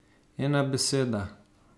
Ena beseda.